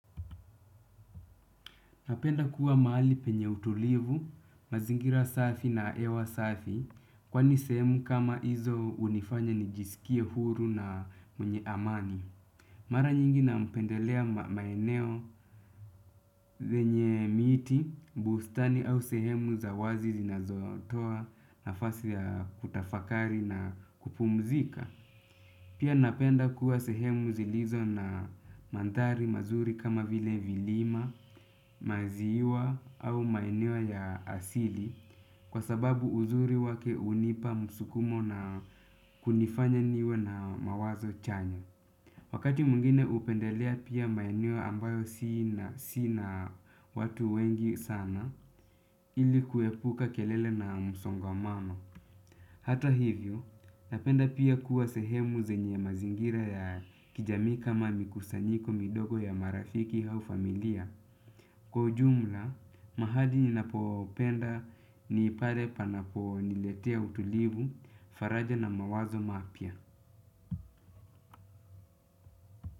Napenda kuwa mahali penye utulivu, mazingira safi na hewa safi kwani sehemu kama hizo hunifanya nijisikie huru na mwenye amani. Mara nyingi napendelea maeneo zenye miti, bustani au sehemu za wazi zinazotoa nafasi ya kutafakari na kupumzika. Pia napenda kuwa sehemu zilizo na mandhari mazuri kama vile vilima, maziwa au maeneo ya asili kwa sababu uzuri wake hunipa msukumo na kunifanya niwe na mawazo chanya. Wakati mwingine hupendelea pia maeneo ambayo si na watu wengi sana ili kuepuka kelele na msongamano. Hata hivyo, napenda pia kuwa sehemu zenye mazingira ya kijamii kama mikusanyiko midogo ya marafiki au familia. Kwa ujumla, mahali ninapopenda ni pale panaponiletea utulivu, faraja na mawazo mapya.